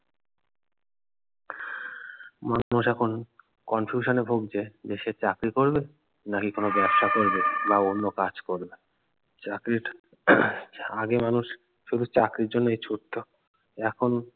মানুষ এখন confusion এ ভুগছে দেশে চাকরি করবে নাকি কোনো ব্যবসা করবে না অন্য কাজ করবে চাকরি টা আহ আগে মানুষ শুধু চাকরির জন্যই ছুটতো এখন